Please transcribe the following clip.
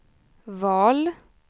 val